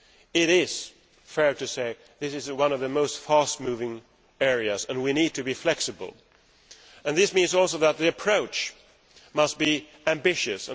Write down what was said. It is fair to say that this is one of the fastest moving areas and we need to be flexible, and this means also that the approach must be ambitious.